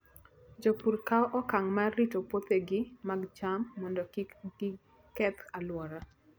Jopur kawo okang' mar rito puothegi mag cham mondo kik giketh alwora.